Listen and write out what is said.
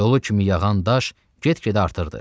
Dolu kimi yağan daş get-gedə artırdı.